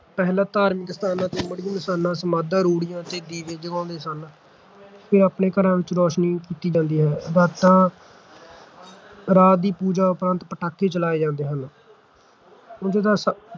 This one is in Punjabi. ਪਹਿਲਾਂ ਧਾਰਮਿਕ ਸਥਾਨਾਂ, ਮੜ੍ਹੀ-ਮਸਾਣਾਂ, ਸਮਾਧਾਂ, ਰੂੜ੍ਹੀਆਂ ਤੇ ਦੀਵੇ ਜਗਾਉਂਦੇ ਸਨ ਫਿਰ ਆਪਣੇ ਘਰਾਂ ਵਿੱਚ ਰੋਸ਼ਨੀ ਕੀਤੀ ਜਾਂਦੀ ਹੈ ਰਾਤਾਂ ਰਾਤ ਦੀ ਪੂਜਾ ਉਪਰਾਂਤ ਪਟਾਕੇ ਚਲਾਏ ਜਾਂਦੇ ਹਨ ਉਂਝ ਤਾਂ